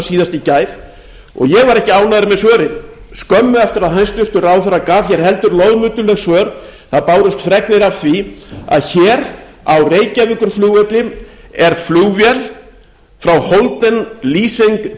síðast í gær og ég var ekki ánægður með svörin skömmu eftir að hæstvirtur ráðherra gaf hér heldur loðmulluleg svör bárust fregnir af því að hér á reykjavíkurflugvelli er flugvél frá holding l company sem